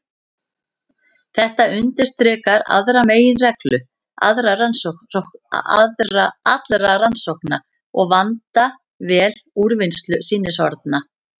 Þetta undirstrikar aðra meginreglu allra rannsókna: að vanda vel úrvinnslu sýnishorna.